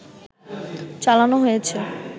চালানো হয়েছে